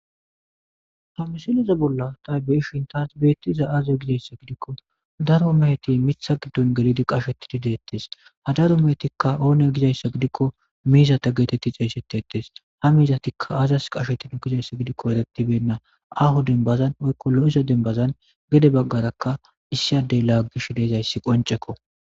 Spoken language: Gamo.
Ha misileza bolla ta be'ishin betizay,aze giko daro mizati mitha gidon gelidi qashetidi detes ha daro mehetiksa one gizaysa gidiko mizata geti xeysetes ha mizatika azas qashetido gizaysa giko ereti bena